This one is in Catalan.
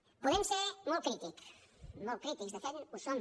podem ser molt crítics molt crítics de fet ho som